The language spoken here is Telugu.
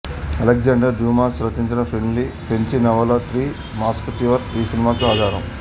అలెక్జాండర్ డ్యూమాస్ రచించిన ఫ్రెంచి నవల త్రీ మస్కటీర్స్ ఈ సినిమాకు ఆధారం